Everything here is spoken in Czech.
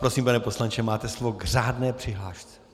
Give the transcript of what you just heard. Prosím, pane poslanče, máte slovo k řádné přihlášce.